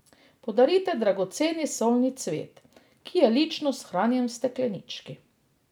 Podarite dragoceni solni cvet, ki je lično shranjen v steklenički.